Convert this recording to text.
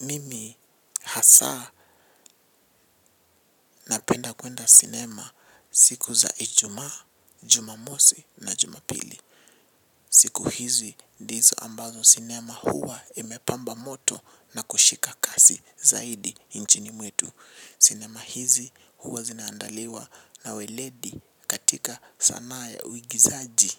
Mimi hasaa napenda kwenda cinema siku za ijuma, jumamosi na jumapili. Siku hizi ndizo ambazo cinema huwa imepamba moto na kushika kasi zaidi nchini mwetu. Cinema hizi huwa zinaandaliwa na weledi katika sanaa ya uwigizaji.